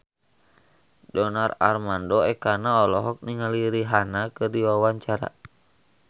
Donar Armando Ekana olohok ningali Rihanna keur diwawancara